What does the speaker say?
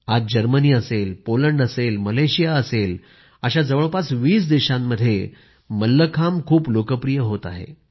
आज जर्मनी असेल पोलंड असेल मलेशिया असेल अशा जवळपास 20 देशांमध्ये मल्लखांब खूप लोकप्रिय होत आहे